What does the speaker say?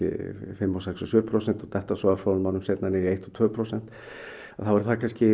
fimm sex sjö prósent en detta örfáum árum seinna niður í eitt til tvö prósent þá er það kannski